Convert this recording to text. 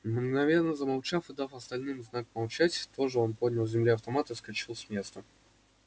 мгновенно замолчав и дав остальным знак молчать тоже он поднял с земли автомат и вскочил с места